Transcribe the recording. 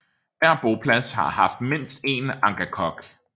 Hver boplads har haft mindst én angakok